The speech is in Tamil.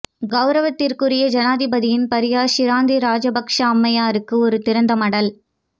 கௌரவத்திற்குரிய ஜனாதிபதியின் பாரியார் ஷிரந்தி ராஜபக்ஷ அம்மையாருக்கு ஒரு திறந்த மடல்